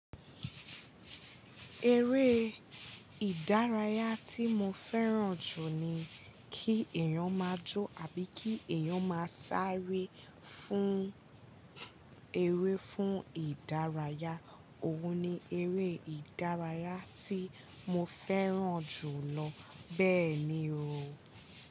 Eré ìdárayá tí mo fẹ́ràn jù ni kí èèyàn má jó àbí kí èèyàn máa sáré fún, eré fún ìdárayá, òun ni eré ìdárayá tí mo fẹ́ràn jù lọ. Bẹ́ẹ̀ni o.